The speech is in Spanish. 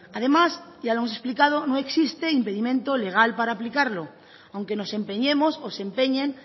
además ya lo hemos explicado no existe impedimento legal para aplicarlo aunque nos empeñemos o se empeñen